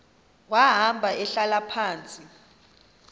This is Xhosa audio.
wahamba ehlala phantsi